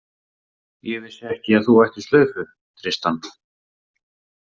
Ég vissi ekki að þú ættir slaufu, Tristan.